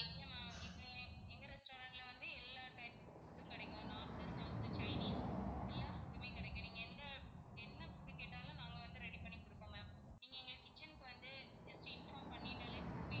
இல்ல ma'am இப்போ எங்க restaurant ல வந்து எல்லா type of food உம் கிடைக்கும் north, south, chinese எல்லா food மே கிடைக்கும். நீங்க எந்த என்ன food கேட்டாலும் நாங்க வந்து ready பண்ணி கொடுப்போம் ma'am நீங்க எங்க kitchen க்கு வந்து just inform பண்ணிட்டாலே போதும்.